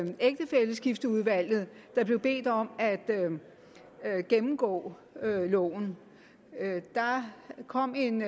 ægtefælleskifteudvalget der blev bedt om at gennemgå loven der kom en